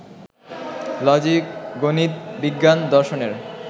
লজিক-গণিত-বিজ্ঞান-দর্শনের